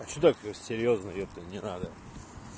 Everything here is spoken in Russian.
а что такой серьёзный ёпта не надо